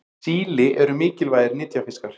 síli eru mikilvægir nytjafiskar